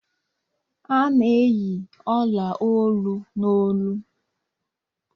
A n'eyi ọla olu, n'olu